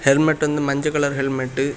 Helmet வந்து மஞ்ச colour helmet .